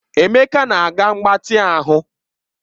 Emeka na-aga mgbatị ahụ